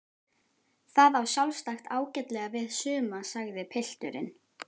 Það á sjálfsagt ágætlega við suma sagði pilturinn.